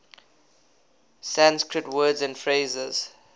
sanskrit words and phrases